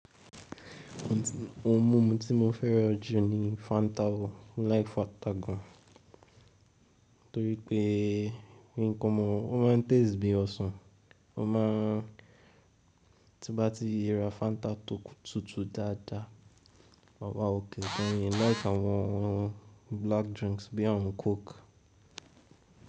Ohun mímu tí mo fẹ́ràn jù ni Fanta, mo like Fanta gan. Nítorí pé mi kọmọ, ó máa ń taste bí ọsàn, ó máa ń tí bá ti ra Fanta tok tútù dáadáa, màwá okay gan. Mii like àwọn black drinks bíi àwọn coke.